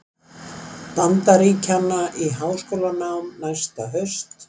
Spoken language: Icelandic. Bandaríkjanna í háskólanám næsta haust.